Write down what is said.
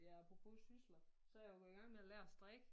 Det apropos sysler så er jeg jo gået i gang med at lære at strikke